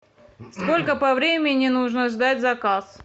сколько по времени нужно ждать заказ